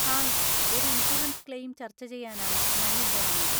Hi, ഒരു insurance claim ചർച്ച ചെയ്യാനാണ് ഞാൻ ഇവിടെ വന്നത്.